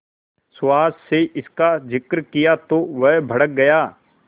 सुहास से इसका जिक्र किया तो वह भड़क गया